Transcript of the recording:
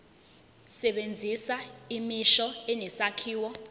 sebenzisa imisho enesakhiwo